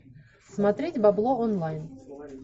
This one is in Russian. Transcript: смотреть бабло онлайн